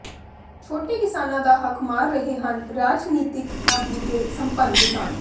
ਛੋਟੇ ਕਿਸਾਨਾਂ ਦਾ ਹੱਕ ਮਾਰ ਰਹੇ ਹਨ ਰਾਜਨੀਤਿਕ ਆਗੂ ਤੇ ਸੰਪੰਨ ਕਿਸਾਨ